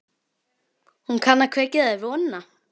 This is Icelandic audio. Hún kann að kveikja þér vonina.